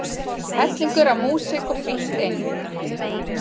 Hellingur af músík og frítt inn